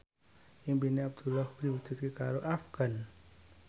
impine Abdullah diwujudke karo Afgan